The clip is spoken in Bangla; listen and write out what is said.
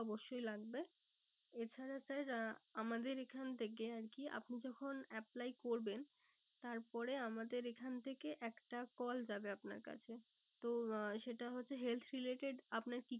অবশ্যই লাগবে। এ ছাড়া sir আমাদের এখান থেকে আরকি আপনি যখন apply করবেন তারপরে আমাদের এখান থেকে একটা call যাবে আমার কাছে। তো আহ সেটা হচ্ছে health related আপনার কি